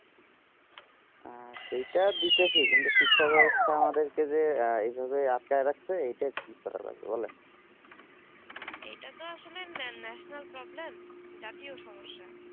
সেটা দিতে চি কিন্তু শিক্ষা বেবস্তা আমাদের কে যে এই ভাবে আটকে রেখেছে এই তা কি করা যাবে বলেন এইটা তো আসলে national problem জাতীয় সমস্যা